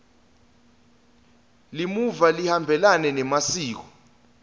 limuva lihambelana nemasiko